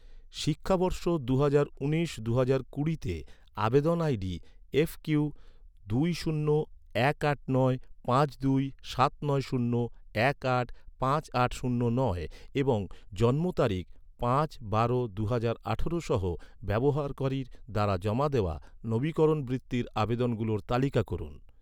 শিক্ষাবর্ষ দুহাজার উনিশ দুহাজার কুড়িতে, আবেদন আইডি এফ কিউ দুই শূন্য এক আট নয় পাঁচ দুই সাত নয় শূন্য এক আট পাঁচ আট শূন্য নয় এবং জন্ম তারিখ পাঁচ বারো দুহাজার আঠারো সহ ব্যবহারকারীর দ্বারা জমা দেওয়া, নবীকরণ বৃত্তির আবেদনগুলোর তালিকা করুন